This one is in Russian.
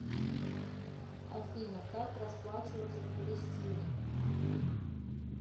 афина как расплачиваться в палестине